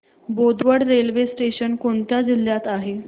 Bodwad railway station कोणत्या जिल्ह्यात आहे